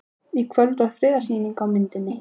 Í kvöld var þriðja sýning á myndinni